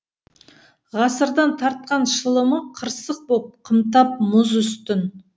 ғасырдың тартқан шылымы қырсық боп қымтап мұз үстін